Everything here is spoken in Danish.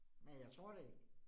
Men jeg tror det ikke